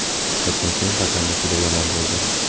Suhbatdan so‘ng hakamlik juda yomon bo‘ldi.